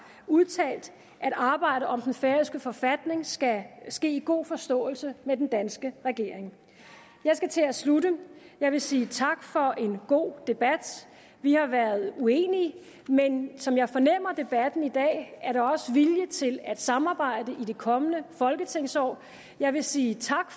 udtalt at arbejdet om den færøske forfatning skal ske i god forståelse med den danske regering jeg skal til at slutte jeg vil sige tak for en god debat vi har været uenige men som jeg fornemmer debatten i dag er der også vilje til at samarbejde i det kommende folketingsår jeg vil sige tak